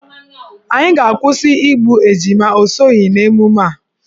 Anyị ga-akwụsị igbu ejima, ọ soghi n'emume a.